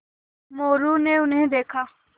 मोरू ने उन्हें देखा